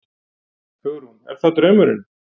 Hugrún: Er það draumurinn?